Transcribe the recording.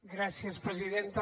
gràcies presidenta